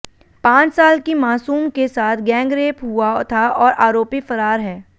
पांच साल की मासूम के साथ गैंग रेप हुआ था और आरोपी फरार है